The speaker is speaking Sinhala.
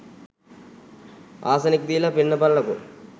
ආසනික් දීල පෙන්නපල්ලකෝ.